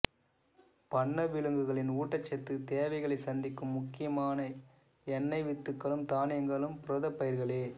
பண்ணை விலங்குகளின் ஊட்டச்சத்து தேவைகளை சந்திக்கும் முக்கியமான எண்ணெய் வித்துகளும் தானியங்களும் புரதப்பயிர்களே